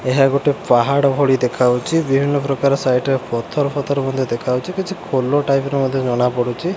ଏହା ଗୋଟେ ପାହାଡ଼ ଭଳି ଦେଖାହଉଚି ବିଭିନ୍ନ ପ୍ରକାର ସାଇଡ ରେ ପଥର ଫଥର ମଧ୍ୟ ଦେଖାହଉଚି କିଛି ଖୋଲ ଟାଇପ ର ମଧ୍ୟ ଜଣାପଡ଼ୁଚି।